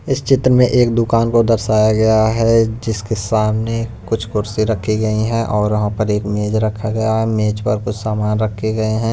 इस चित्र में एक दुकान को दर्शाया गया है जिसके सामने कुछ कुर्सी रखी गई हैं और वहां पर एक मेज रखा गया है मेज पर कुछ सामान रखे हुए हैं।